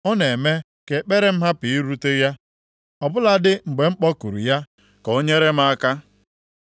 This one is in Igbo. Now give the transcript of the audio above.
Ọ na-eme ka ekpere m hapụ irute ya, ọ bụladị mgbe m kpọkuru ya ka o nyere m aka.